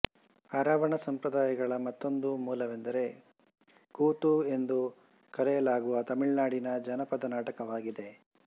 ಅರಾವಣ ಸಂಪ್ರದಾಯಗಳ ಮತ್ತೊಂದು ಮೂಲವೆಂದರೆ ಕೂತು ಎಂದು ಕರೆಯಲಾಗುವ ತಮಿಳುನಾಡಿನ ಜಾನಪದನಾಟಕವಾಗಿದೆ